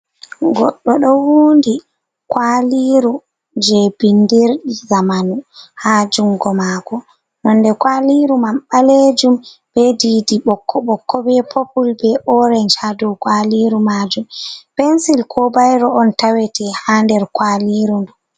Goɗɗo ɗo wundi kwaliru je bindir ɗi zamanu ha jungo mako, nonde kwaliru man ɓalejum be didi ɓokko-ɓokko be popul be orenj hadow kwaliru majum, pensil ko bayro on tawete ha nder kwaliru ndu.